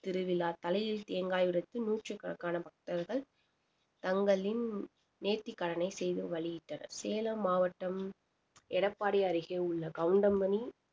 திருவிழா தலையில் தேங்காய் உடைத்து நூற்றுக்கணக்கான பக்தர்கள் தங்களின் நேர்த்திக்கடனை செய்து வழியிட்டனர் சேலம் மாவட்டம் எடப்பாடி அருகே உள்ள கவுண்டமணி